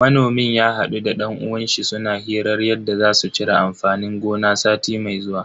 Manomin ya hadu da dan uwanshi suna hirar yadda za su cire amfanin gona sati mai zuwa.